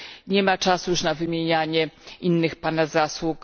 Nie ma już czasu na wymienianie innych Pana zasług.